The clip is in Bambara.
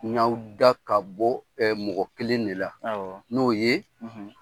N y'aw da ka bɔ mɔgɔ kelen de la, awɔ, n'o ye